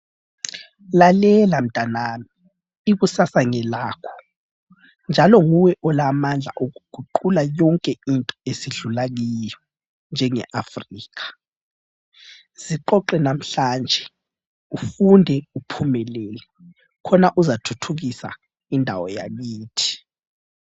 Lalela mtanami ikusasa ngelakho njalo nguwe olamandla okuguqula yonke into esidlula kiyo njenge Africa. Ziqoqe namhlanje ufunde uphumelele khona uzathuthukisa indawo yakithi.